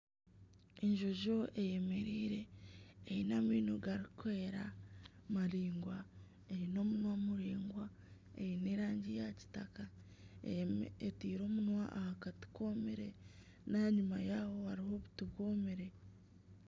Enjojo eyemereire eine amaino garikwera maraingwa eine omunwa muraingwa, eine erangi ya kitaka, etaire omunwa aha kati koomire n'aha nyuma yaaho hariho obuti bwomire